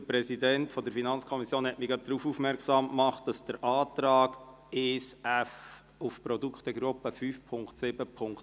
Der Präsident der FiKo hat mich darauf aufmerksam gemacht, dass sich der Antrag 1f auf die Produktegruppe 5.7.7 auswirkt.